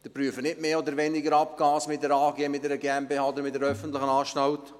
Sie prüfen nicht mehr oder weniger Abgase mit einer AG, mit einer GmbH oder mit einer öffentlichen Anstalt.